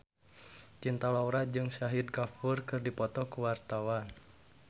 Cinta Laura jeung Shahid Kapoor keur dipoto ku wartawan